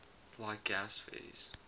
like gas phase